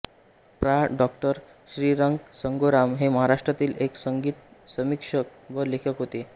प्रा डॉ श्रीरंग संगोराम हे महाराष्ट्रातील एक संगीतसमीक्षक व लेखक होते